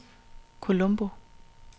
Colombo